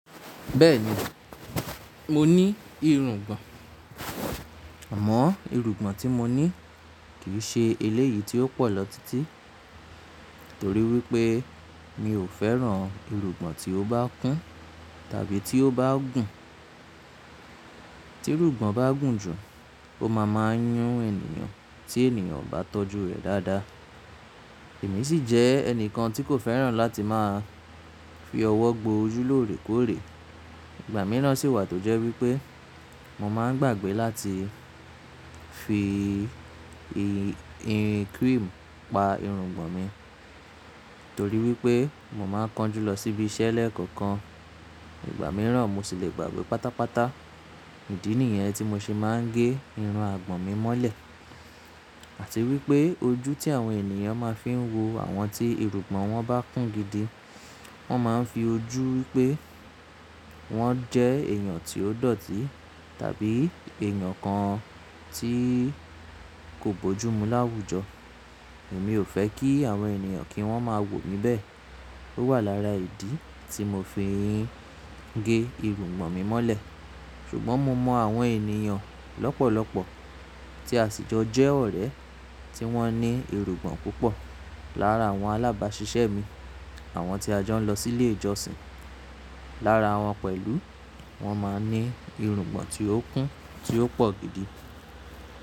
Bẹ́ẹ̀ni, mo ní irungbọ̀n, àmọ́ irungbọ̀n tí mo ní kì í ṣe eléyìí tí ó pọ̀ lọ títí, torí wípé mi ò fẹ́ràn irungbọ̀n tí ó bá kún tàbí tí ó bá gùn. Tí irungbọ̀n bá gùn jù ó máa máa n yún ènìyàn tí ènìyàn ò bá tọ́jú rẹ̀ dáadáa. Èmi sì jẹ́ ẹnìkan tí kò fẹ́ràn láti máa fi ọwọ́ gbo ojú lóòrèkóòrè. Ìgbà mìíràn sì wà tó jẹ́ wípé mo máa ń gbàgbé láti fi í ì cream pa irungbọ̀n mi, torí wípé mo máa ń kánjú lọ síbi iṣẹ́ lẹ́ẹ̀kọ̀kan. Ìgbà mìíràn mo sì lè gbàgbé pátápátá ìdí nìyẹn tí mo ṣe máa ń gé irun àgbọ̀n mi mọ́lẹ̀. Àti wípé ojú tí àwọn ènìyàn máa ń fi ń wo àwọn tí irungbọ̀n wọn bá kún gidi, wọ́n máa ń fi ojú wípé wọ́n jẹ́ èèyàn tí ó dọ̀tí tàbí èèyàn kan tí kò bójú mú láwùjọ. Èmi ò fẹ́ kí àwọn ènìyàn kí wọ́n máa wò mi bẹ́ẹ̀. Ó wà lára ìdí tí mo fi ń gé irungbọ̀n mi mọ́lẹ̀. Ṣùgbọ́n mo mọ àwọn ènìyàn lọ́pọ̀lọ́pọ̀ tí àṣijọ́ jẹ́ ọ̀rẹ́ tí wọ́n ní irungbọ̀n púpọ̀. Lára àwọn alábàásisẹ́ mi, àwọn tí a jọ ń lọ sílé ìjọsìn, lára wọn pẹ̀lú wọ́n máa ń ní irungbọ̀n tí ó kún tí ó pọ̀ gidi.